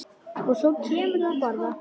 Og svo kemurðu að borða!